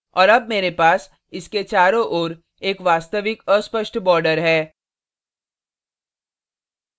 और अब मेरे पास इसके चारों ओर एक वास्तविक अस्पष्ट border है